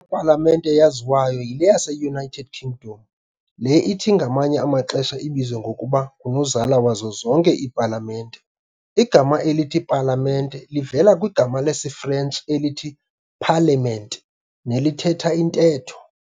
palamente yaziwayo yile yase-United Kingdom, le ithi ngamanye amaxesha ibizwe ngokuba ng"unozala wazo zonke iipalamente". igama elithi "palamente" livela kwigama lesiFrentshi elithi "parlement", nelithetha intetho.